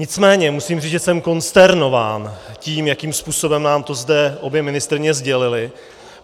Nicméně musím říct, že jsem konsternován tím, jakým způsobem nám to zde obě ministryně sdělily.